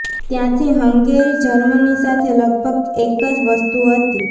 ત્યારથી Hungary Germany સાથે લગભગ એક જ વસ્તુ હતી